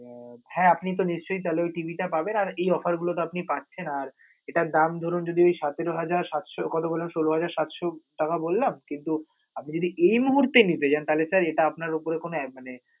আহ হ্যা আপনি তো নিশ্চয় তাহলে ওই TV টা পাবেন আর offer গুলোতে আপনি পাচ্ছেন, আর এটার দাম ধরুন যদি সতেরো হাজার সাতশ কত বলল, ষোল হাজার সাতশ টাকা বললাম, কিন্তু আপনে যদি এই মুহূর্তে নিতে যান, তাহলে sir এটা আপনার উপরে কোনো মানে